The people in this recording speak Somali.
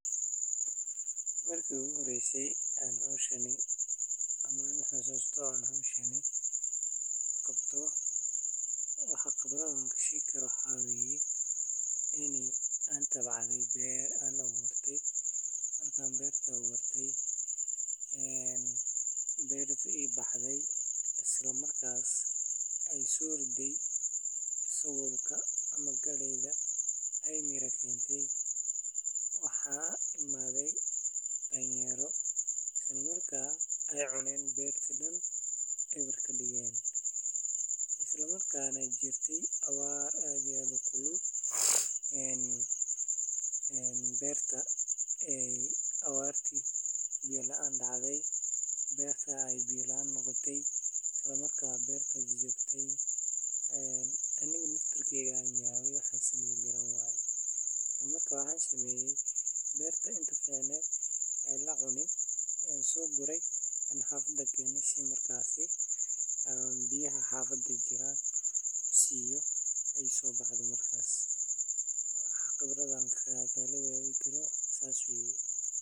Waxa jira habab casri ah sida waraabka dhibicda ah oo biyaha si tartiib ah u gaarsiiya xididdada dhirta. Beeralayda waa in ay si taxaddar leh ula socdaan jadwalka waraabinta si aysan beertu u qalalin ama u qoyaan xad-dhaaf ah. Sidaas darteed, dhul beereed la waraabiyo waa mid sare u qaada wax-soo-saarka cuntada, una roon deegaanka iyo koboca dhaqaalaha bulshada.